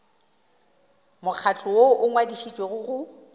mokgatlo woo o ngwadišitšwego go